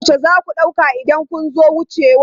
Har yaushe za ku ɗauka idan kun zo wucewa?